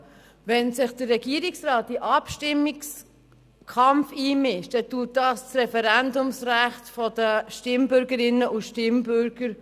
Wenn sich der Regierungsrat in den Abstimmungskampf einmischt, dann unterhöhlt dies das Referendumsrecht der Stimmbürgerinnen und Stimmbürger.